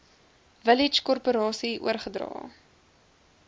village korporasie oorgedra